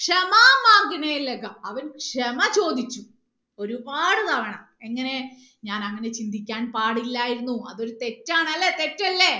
ക്ഷമാ അവൻ ക്ഷമ ചോദിച്ചു ഒരുപാട് തവണ എങ്ങനെ ഞാൻ അങ്ങനെ ചിന്തിക്കാൻ പാടില്ലായിരുന്നു അത് ഒരു തെറ്റാണ് അല്ലേ തെറ്റല്ലേ